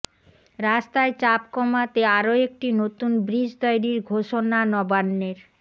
রাস্তায় চাপ কমাতে আরো একটি নতুন ব্রিজ তৈরীর ঘোষণা নবান্নের